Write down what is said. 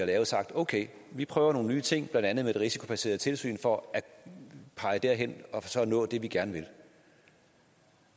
lavet sagt okay vi prøver nogle nye ting blandt andet med det risikobaserede tilsyn for at pege derhen og nå det vi gerne vil